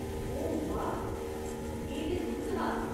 ओह्, बाह्, एह् ते तुर्त हा !